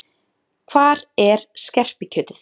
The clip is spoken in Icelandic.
Hvar er skerpikjötið?